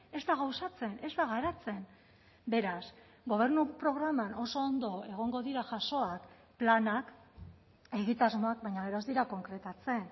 ez da gauzatzen ez da garatzen beraz gobernu programan oso ondo egongo dira jasoak planak egitasmoak baina gero ez dira konkretatzen